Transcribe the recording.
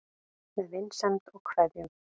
Með vinsemd og kveðjum